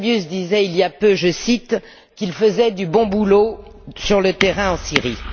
Fabius disait il y a peu, je cite, qu'il faisait du bon boulot sur le terrain en Syrie.